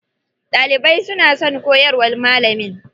Ɗalibai suna son koyarwar malamin.